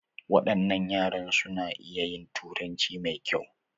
Wadannan yaran su na iya yin turanci mai kyau.